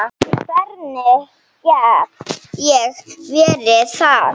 Hvernig get ég verið það?